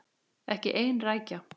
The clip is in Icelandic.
Ekki ein rækja.